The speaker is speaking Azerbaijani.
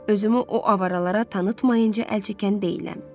Özümü o avaralara tanıtmayınca əl çəkən deyiləm.